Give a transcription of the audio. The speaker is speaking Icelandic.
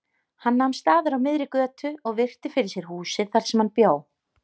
Hann nam staðar á miðri götu og virti fyrir sér húsið þar sem hann bjó.